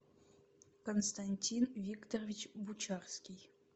константин викторович бучарский